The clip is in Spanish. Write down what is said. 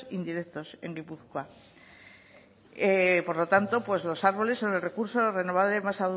indirectos en guipúzcoa por lo tanto pues los árboles son el recurso renovable más